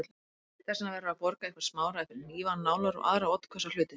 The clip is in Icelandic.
Þess vegna verður að borga eitthvert smáræði fyrir hnífa, nálar og aðra oddhvassa hluti.